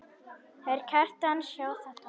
Þeir Kjartan sjá þetta.